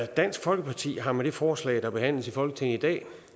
dansk folkeparti har med det forslag der behandles i folketinget i dag